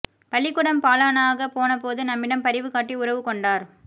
பள்ளிக் கூடம் பால னாகப் போனபோது நம்மிடம் பரிவு காட்டி உறவு கொண்டார்